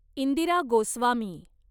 Indira Goswami